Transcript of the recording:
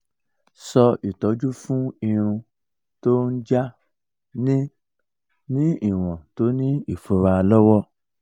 so itoju fun irun ti o n ja ni ni iwon to ni ifura lowo